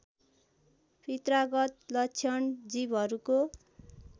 पित्रागत लक्षण जीवहरूको